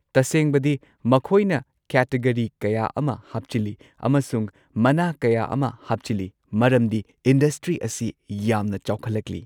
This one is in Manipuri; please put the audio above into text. ꯇꯁꯦꯡꯕꯗꯤ ꯃꯈꯣꯏꯅ ꯀꯦꯇꯒꯔꯤ ꯀꯌꯥ ꯑꯃ ꯍꯥꯞꯆꯤꯜꯂꯤ ꯑꯃꯁꯨꯡ ꯃꯅꯥ ꯀꯌꯥ ꯑꯃ ꯍꯥꯞꯆꯤꯜꯂꯦ ꯃꯔꯝꯗꯤ ꯏꯟꯗꯁꯇ꯭ꯔꯤ ꯑꯁꯤ ꯌꯥꯝꯅ ꯆꯥꯎꯈꯠꯂꯛꯂꯤ꯫